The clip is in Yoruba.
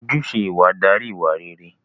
Ojúṣe ìwà darí ìwà réré